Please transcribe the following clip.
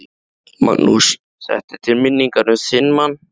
Magnús: Þetta er til minningar um þinn mann?